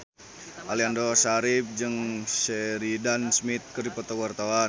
Aliando Syarif jeung Sheridan Smith keur dipoto ku wartawan